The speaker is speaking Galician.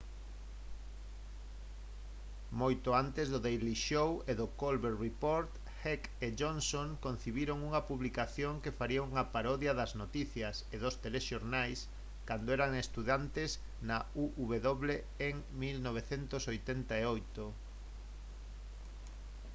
moito antes do daily show e do the colbert report heck e johnson concibiron unha publicación que faría unha parodia das noticias e dos telexornais cando eran estudantes na uw en 1988